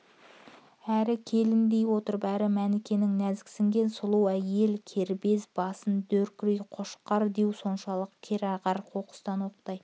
әрі келін дей отырып әрі мәнікенің нәзіксінген сұлу әйел кербез басын дөйдір қошқар деу соншалық кереғар оқыстан оқтай